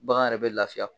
Bagan yɛrɛ bɛ lafiya